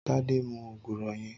Tade mú ógúrọ̀ yèn